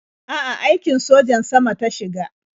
A'a, aikin sojan sama ta shiga.